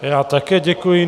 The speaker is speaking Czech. Já také děkuji.